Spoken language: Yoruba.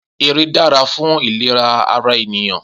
Eré dára fún ìléra ara ènìyàn